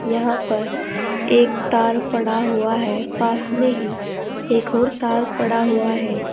यहां पर एक तार पड़ा हुआ है पास में ही एक और तार पड़ा हुआ है।